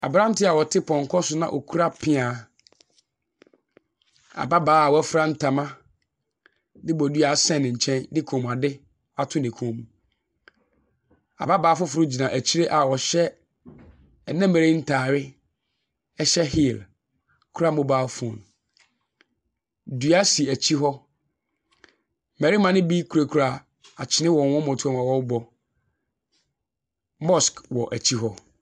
Aberanteɛ a ɔte pɔnkɔ so ɛkuta peaa. Ababaawa a wafura ntama ɛde bodua ahyɛ ne nkyɛn mu de kɔn mu ade ahyɛ ne kɔn mu. Ababaawa foforɔ ɛgyina akyi a ɔhyɛ nnɛ mmerɛ yi ntaare, hyɛ heel, kura mobile phone. Dua si akyi hɔ, mmarima no bi kurakura akyene wɔ wɔn mmɔtoa mu awɔrebɔ. Mosque wɔn akyi hɔ.